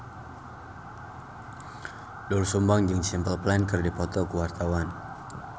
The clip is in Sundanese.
Doel Sumbang jeung Simple Plan keur dipoto ku wartawan